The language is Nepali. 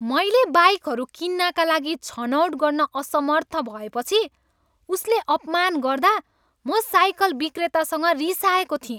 मैले बाइकहरू किन्नाका लागि छनौट गर्न असमर्थ भएपछि उसले अपमान गर्दा म साइकल विक्रेतासँग रिसाएको थिएँ।